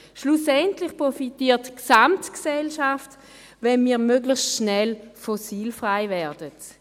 Schlussendlich profitiert die Gesamtgesellschaft, wenn wir möglichst schnell fossilfrei werden.